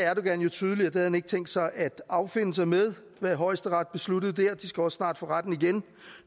jo tydeligt at han ikke havde tænkt sig at affinde sig med hvad højesteret besluttede der de skal også snart for retten igen